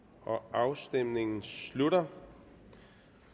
afstemningen slutter